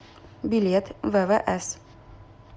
билет ввс